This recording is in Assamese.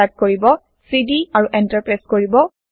টাইপ কৰিব চিডি আৰু এন্টাৰ প্ৰেছ কৰিব